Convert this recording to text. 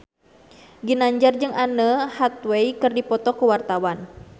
Ginanjar jeung Anne Hathaway keur dipoto ku wartawan